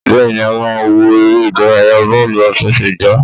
Bẹ́ẹ̀ni, a máa wo eré ìdárayá bọ́ọ́lù àfesẹ̀gbá